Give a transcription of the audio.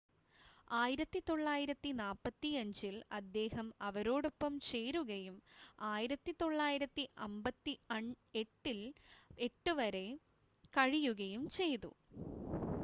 1945-ൽ അദ്ദേഹം അവരോടൊപ്പം ചേരുകയും 1958 വരെ കഴിയുകയും ചെയ്തു